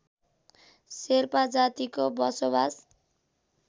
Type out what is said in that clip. शेर्पा जातिको बसोवास